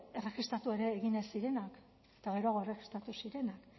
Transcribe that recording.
erregistratu ere egin ez zirenak eta geroago erregistratu zirenak